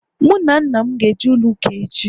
Mụ na nna m ga eje ụlọ ụka echi